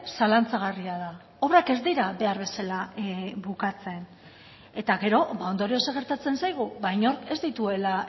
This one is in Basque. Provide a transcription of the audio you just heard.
zalantzagarria da obrak ez dira behar bezala bukatzen eta gero ondorioz zer gertatzen zaigu ba inork ez dituela